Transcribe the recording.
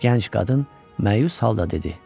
Gənc qadın məyus halda dedi: